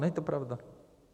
Není to pravda.